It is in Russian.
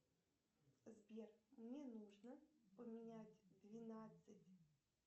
сбер мне нужно поменять двенадцать